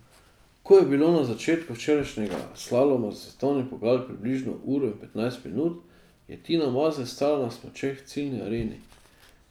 Ko je bilo do začetka včerajšnjega slaloma za svetovni pokal približno uro in petnajst minut, je Tina Maze stala na smučeh v ciljni areni.